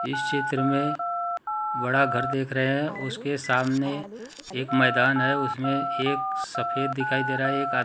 इस चित्र मे बड़ा घर देख रहे हैं उसके सामने एक मैदान हैं उसमे एक सफेद दिखाई दे रहा हैं एक--